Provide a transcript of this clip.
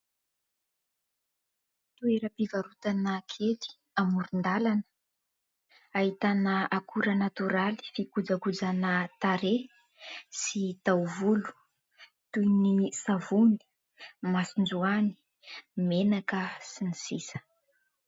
Toeram-pivarotana kely amoron-dàlana ahitana akora natoraly fikojakojana tarehy sy taovolo toy ny savony, masonjoany, menaka sy ny sisa.